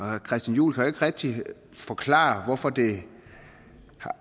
herre christian juhl kan ikke rigtig forklare hvorfor det